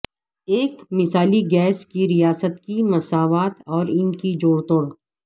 ایک مثالی گیس کی ریاست کی مساوات اور ان جوڑتوڑ